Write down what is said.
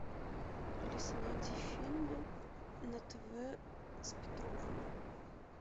алиса найди фильмы на тв с петровым